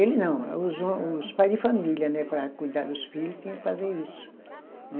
Ele não, é os os pai de família, né, para cuidar dos filho, tinha que fazer isso, né?